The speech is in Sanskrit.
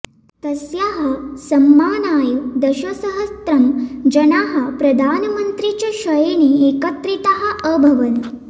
तस्याः सम्मानाय दशसहस्त्रं जनाः प्रधानमन्त्री च क्षयणे एकत्रिताः अभवन्